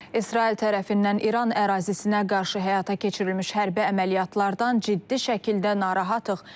İsrail tərəfindən İran ərazisinə qarşı həyata keçirilmiş hərbi əməliyyatlardan ciddi şəkildə narahattıq.